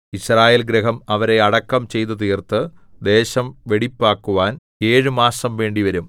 യിസ്രായേൽഗൃഹം അവരെ അടക്കം ചെയ്തുതീർത്ത് ദേശം വെടിപ്പാക്കുവാൻ ഏഴു മാസം വേണ്ടിവരും